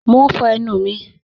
Mọ̀ n fọ̀ ẹnu mi